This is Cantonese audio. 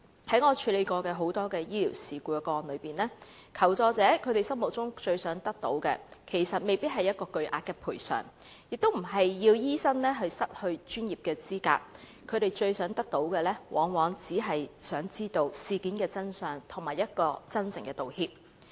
在我曾處理過的多宗醫療事故個案中，求助者心中最想得到的，其實未必是巨額賠償，亦不是要醫生失去專業資格，他們最想得到的，往往只是想知道事件的真相，以及一句真誠的道歉。